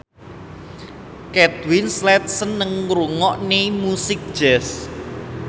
Kate Winslet seneng ngrungokne musik jazz